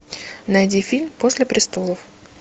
найди фильм после престолов